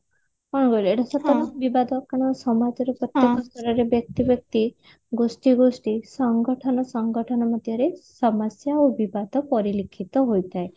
କଣ କହିଲୁ ଏଟା ସତ କାରଣ ସମାଜର ପ୍ରତ୍ୟକ ସ୍ତରରେ ବ୍ୟକ୍ତି ବ୍ୟକ୍ତି ଗୋଷ୍ଠୀ ଗୋଷ୍ଠୀ ସଂଗଠନ ସଂଗଠନ ମଧ୍ୟରେ ସମସ୍ଯା ଓ ବିବାଦ ପରିଲିଖିତ ହୋଇଥାଏ